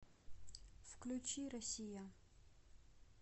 включи россия